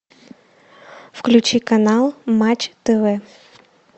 включи канал матч тв